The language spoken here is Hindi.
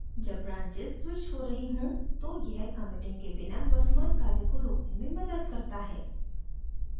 जब branches स्विच हो रही हों तो यह committing के बिना वर्तमान कार्य को रोकने में मदद करता है